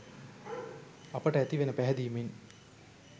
අපට ඇතිවෙන පැහැදීමෙන්.